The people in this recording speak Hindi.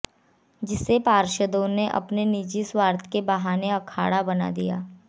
जिसे पार्षदों ने अपने निजी स्वार्थ के बहाने अखाड़ा बना दिया